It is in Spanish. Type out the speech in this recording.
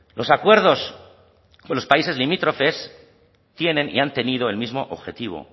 los acuerdos con los países limítrofes tienen y han tenido el mismo objetivo